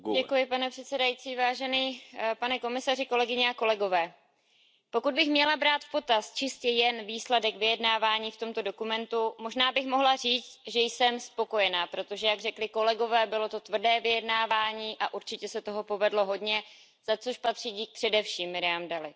Pane předsedající, pane komisaři, pokud bych měla brát v potaz čistě jen výsledek vyjednávání v tomto dokumentu, možná bych mohla říct, že jsem spokojená, protože jak řekli kolegové, bylo to tvrdé vyjednávání a určitě se toho povedlo hodně, za což patří dík především Miriam Dalliové.